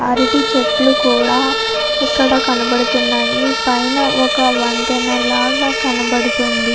అరటి చెట్లు కూడా ఇక్కడ కనబడుతున్నాయి పైన ఒక వంతెన లాగా కనబడుతుంది.